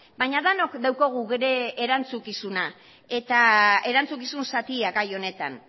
baina denok daukagu bere erantzukizuna erantzukizun zatia gai honetan